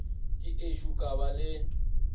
ke ešo ka ba le